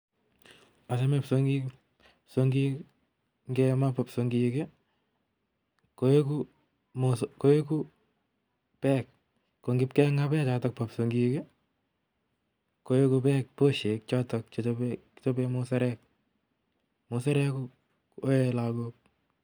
Achame kipsongik, kipsongik, ngemaa ko kipsongik, koeku, koeku beek. Ko ngipkeng'aa beek chotok bo kipsongik, koeku beek boshek chotok chechobe, kichobee musarek. Musarek koee lagok